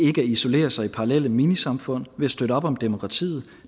isolere sig i parallelle minisamfund ved at støtte op om demokratiet